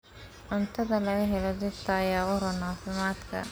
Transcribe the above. Cuntada laga helo dhirta ayaa u roon caafimaadka.